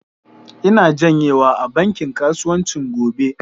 Ina janyewa a bankin kasuwanci gobe.